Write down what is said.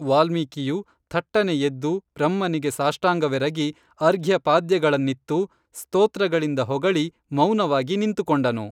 ವಾಲ್ಮೀಕಿಯು ಥಟ್ಟನೆ ಎದ್ದು ಬ್ರಹ್ಮನಿಗೆ ಸಾಷ್ಟಂಗವೆರಗಿ ಅರ್ಘ್ಯಪಾದ್ಯಗಳನ್ನಿತ್ತು ಸ್ತೋತ್ರಗಳಿಂದ ಹೊಗಳಿ ಮೌನವಾಗಿ ನಿಂತು ಕೊಂಡನು